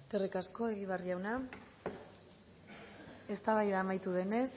eskerrik asko egibar jauna eztabaida amaitu denez